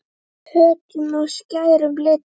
Höttum og skærum litum.